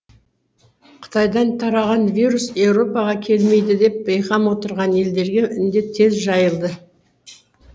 қытайдан тараған вирус еуропаға келмейді деп бейқам отырған елдерге індет тез жайылды